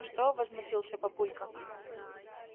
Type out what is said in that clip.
что возмутился папулька